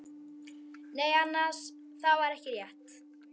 Nei annars, það var ekki rétt.